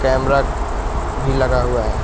Cambric भी लगा हुआ है।